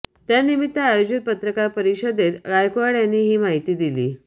त्यानिमित्त आयोजित पत्रकार परिषदेत गायकवाड यांनी ही माहिती दिली